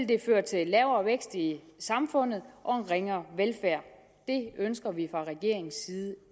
det føre til lavere vækst i samfundet og en ringere velfærd det ønsker vi fra regeringens side